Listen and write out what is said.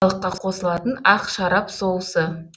балыққа қосылатын ақ шарап соусы